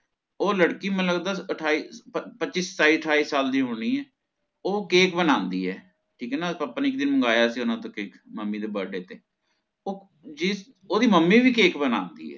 ਉਹ ਲੜਕੀ ਮੈਨੂੰ ਲਗਦਾ ਅਠਾਈ ਪਚ ਪੱਚੀ ਸਤਾਈ ਅਠਾਈ ਸਾਲ ਦੀ ਹੋਣੀ ਆ ਉਹ cake ਬਣਾਂਦੀ ਏ ਠੀਕ ਏ ਨਾ ਅੱਪਾ ਨਾ ਇਕ ਦਿਨ ਮੰਗਾਇਆ ਸੀ ਓਹਨਾ ਤੋਂ ਮੰਮੀ ਦੇ birthday ਤੇ ਉਹ ਜੀ ਓਹਦੀ ਮੰਮੀ ਵੀ cake ਬਣਾਂਦੀ ਏ